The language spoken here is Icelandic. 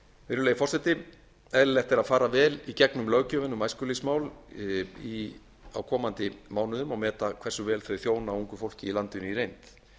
virðulegi forseti eðlilegt er að fara vel í gegnum löggjöfina um æskulýðsmál á komandi mánuðum og meta hversu vel þau þjóna ungu fólki í landinu í reynd